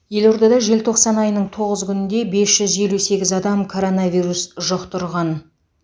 елордада желтоқсан айының тоғыз күнінде бес жүз елу сегіз адам коронавирус жұқтырған